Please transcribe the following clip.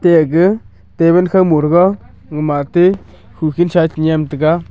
te ege table khaw morega gumatey hukhin sae chenyem taiga.